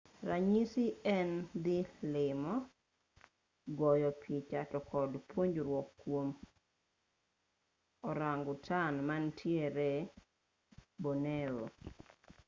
ranyisi en dhi limo goyo picha to kod puonjruok kwom orangutan manitiere borneo